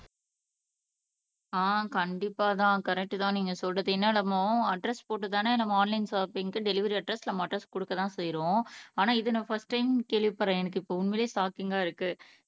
ஆஹ் கண்டிப்பாதா கரெக்ட்டு தான் நீங்க சொல்றது என்ன அலமு அட்ரஸ் போட்டு தானே நம்ம ஆன்லைன் ஷாப்பிங்க்கு டெலிவரி அட்ரஸ் நம்ம அட்ரஸ் குடுக்க தான் செய்றோம் ஆனா இது நான் ஃபஸ்ட் டைம் கேள்விப்படுறேன் எனக்கு இப்போ உண்மையிலயே ஷாக்கிங்கா இருக்கு